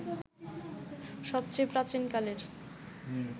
সবচেয়ে প্রাচীন কালের